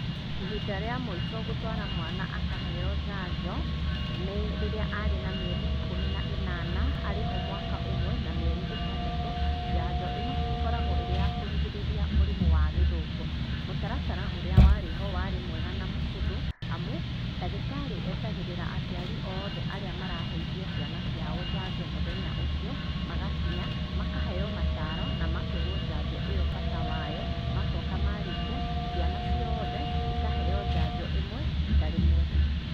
Ihinda rĩa moico gũtwara mwana akaheyo njanjo, nĩ rĩrĩa arĩ na mĩeri ikũmi na ĩnana, arĩho mwaka ũmwe na mĩeri ĩtandatũ, njanjo ĩno ĩkoragwo ĩrĩ ya kũrigĩrĩria mĩrimũ ya gĩthũkũ. Mũtaratara ũria warĩ ho warĩ mwega na mũhũthũ amu, ndagĩtarĩ etagĩrĩra aciari othe arĩa maraheithia ciana ciao njajo mũthenya ũcio, magakinya makaheyo mataro, na makerwo njanjo ĩyo bata wayo, macoka marĩkia, ciana cioothe, ikaheyo njanjo ĩmwe rita rĩmwe.